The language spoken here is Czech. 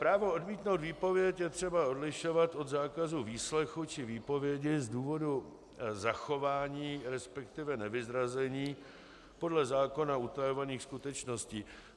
Právo odmítnout výpověď je třeba odlišovat od zákazu výslechu či výpovědi z důvodu zachování, respektive nevyzrazení podle zákona utajovaných skutečností.